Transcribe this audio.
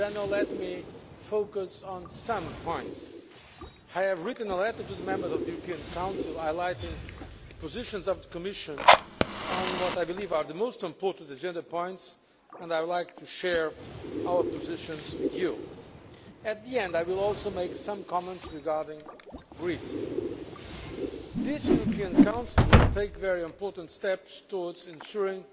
Let me focus on some specific points I have written a letter to the members of the European Council outlining the positions of the Commission on what I believe are the most important items on the agenda, and I would like to share our positions with you. At the end I will also make some comments regarding Greece. This European Council will take very important steps towards ensuring